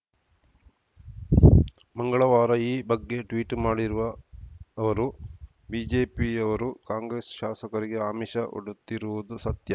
ಮಂಗಳವಾರ ಈ ಬಗ್ಗೆ ಟ್ವೀಟ್‌ ಮಾಡಿರುವ ಅವರು ಬಿಜೆಪಿಯವರು ಕಾಂಗ್ರೆಸ್‌ ಶಾಸಕರಿಗೆ ಆಮಿಷ ಒಡುತ್ತಿರುವುದು ಸತ್ಯ